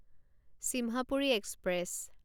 Simhapuri express